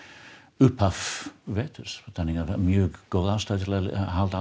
upphaf þannig að það er mjög góð ástæða til að halda